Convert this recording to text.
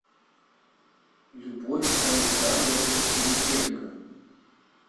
любовь александровна пилипенко